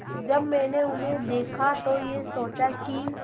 जब मैंने उन्हें देखा तो ये सोचा कि